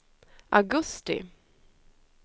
augusti